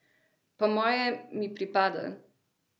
Po moje mi pripada!